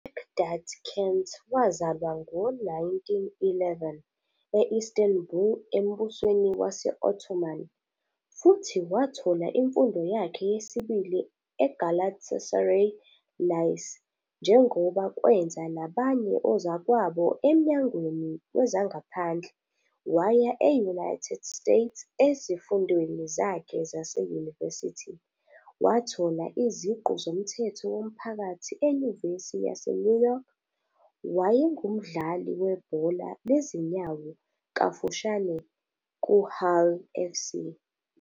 UNecdet Kent wazalwa ngo-1911 e- Istanbul eMbusweni wase-Ottoman futhi wathola imfundo yakhe yesibili "eGalatasaray Lycee", njengoba kwenza nabanye ozakwabo emnyangweni wezangaphandle. Waya e- United States ezifundweni zakhe zaseyunivesithi, wathola iziqu zomthetho womphakathi eNyuvesi yaseNew York. Wayengumdlali webhola lezinyawo kafushane kuHull Fc.